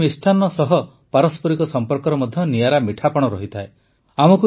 ହୋଲିରେ ମିଷ୍ଟାନ୍ନ ସହ ପାରସ୍ପରିକ ସମ୍ପର୍କର ମଧ୍ୟ ନିଆରା ମିଠାପଣ ଥାଏ